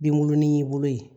Binkurunin bolo ye